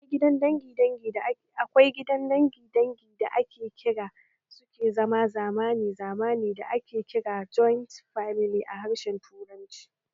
Akwai gidan dangin dangi da suke zama zamani zamani da ake kira joint famili a harshen Turanci